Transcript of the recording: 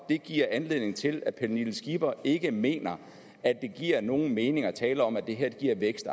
det giver anledning til at fru pernille skipper ikke mener at det giver nogen mening at tale om at det her giver vækst